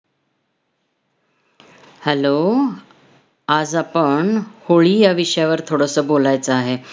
Hello आज आपण 'होळी' या विषयावर थोडंसं बोलायचं आहे.